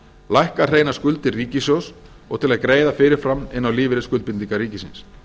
lækka hreinar skuldir ríkissjóðs og til að greiða fyrirfram inn á lífeyrisskuldbindingar ríkisins